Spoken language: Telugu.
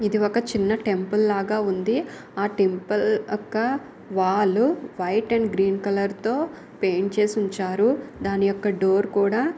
ఇది ఒక చిన్న టెంపుల్ లాగా ఉంది. ఆ టెంపుల్ యొక్క wall white and green colour తో పెయింట్ చేసి ఉంచారు. దాని యొక్క డోర్ కూడా--